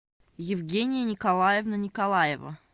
евгения николаевна николаева